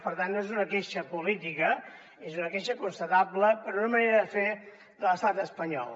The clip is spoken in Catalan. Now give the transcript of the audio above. per tant no és una queixa política és una queixa constatable per una manera de fer de l’estat espanyol